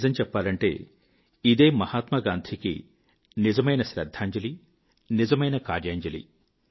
నిజం చెప్పాలంటే ఇదే మహాత్మా గాంధీకి నిజమైన శ్రద్ధాంజలి నిజమైన కార్యాంజలి